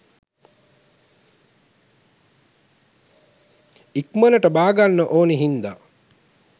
ඉක්මනට බාගන්න ඕනි හින්ද